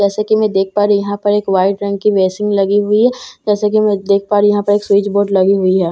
जैसे की मैं देख पा रही हूँ यहाँ पर एक व्हाइट रंग की बैसिन लगी हुई है जैसे की मैं देख पा रही हूँ यहाँ पर एक स्विच बोर्ड लगी हुई है।